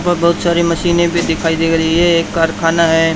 और बहुत सारी मशीनें भी दिखाई दे रही है एक कारखाना है।